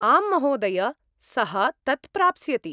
आम्, महोदय, सः तत् प्राप्स्यति।